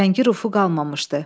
Rəngi rufu qalmamışdı.